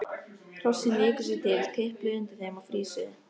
Hrossin viku sér til, tipluðu undir þeim og frýsuðu.